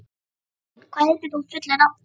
Malín, hvað heitir þú fullu nafni?